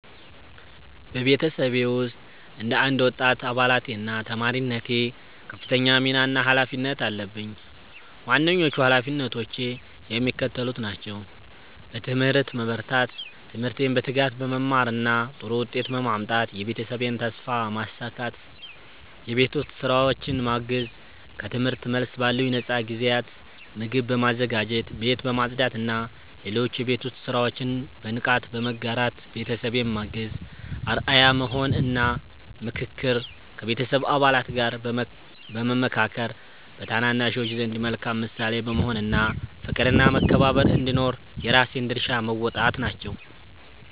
በቤተሰቤ ውስጥ እንደ አንድ ወጣት አባልነቴና ተማሪነቴ ከፍተኛ ሚና እና ኃላፊነት አለብኝ። ዋነኞቹ ኃላፊነቶቼ የሚከተሉት ናቸው፦ በትምህርት መበርታት፦ ትምህርቴን በትጋት በመማርና ጥሩ ውጤት በማምጣት የቤተሰቤን ተስፋ ማሳካት። የቤት ውስጥ ሥራዎችን ማገዝ፦ ከትምህርት መልስ ባሉኝ ነፃ ጊዜያት ምግብ በማዘጋጀት፣ ቤት በማጽዳትና ሌሎች የቤት ውስጥ ሥራዎችን በንቃት በመጋራት ቤተሰቤን ማገዝ። አርአያ መሆን እና ምክክር፦ ከቤተሰብ አባላት ጋር በመመካከር፣ በታናናሾች ዘንድ መልካም ምሳሌ በመሆን እና ፍቅርና መከባበር እንዲኖር የራሴን ድርሻ መወጣት ናቸው።